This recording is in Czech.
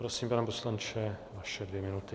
Prosím, pane poslanče, vaše dvě minuty.